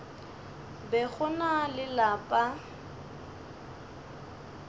be go na le lapa